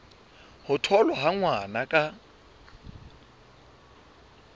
ho tholwa ha ngwana ka